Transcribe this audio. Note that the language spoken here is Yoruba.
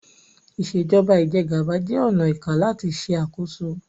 Ìṣèjọba Ìjẹgàba jẹ ọnà ìká làti ṣe àkóso